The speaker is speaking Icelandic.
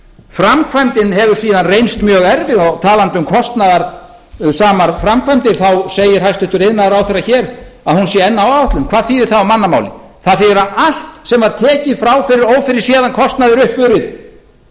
framkvæmdin hefur síðan reynst mjög erfið og talandi um kostnaðarsamar framkvæmdir þá segir hæstvirtur iðnaðarráðherra hér að hún sé enn á áætlun hvað þýðir það á mannamáli það þýðir að allt sem er tekið frá fyrir ófyrirséðan kostnað er uppurið